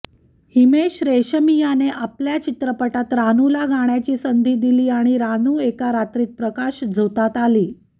हिमेश रेशमियाने आपल्या चित्रपटात रानूला गाण्याची संधी दिली आणि रानू एका रात्रीत प्रकाशझोतात आली